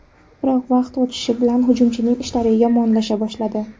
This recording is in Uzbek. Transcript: Biroq vaqt o‘tishi bilan hujumchining ishlari yomonlasha boshladi.